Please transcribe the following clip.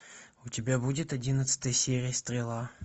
у тебя будет одиннадцатая серия стрела